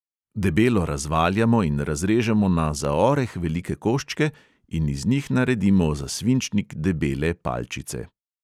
Debelo razvaljamo in razrežemo na za oreh velike koščke in iz njih naredimo za svinčnik debele palčice.